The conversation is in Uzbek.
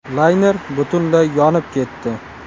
Layner butunlay yonib ketdi.